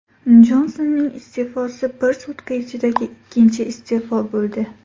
Jonsonning iste’fosi bir sutka ichidagi ikkinchi iste’fo bo‘ldi.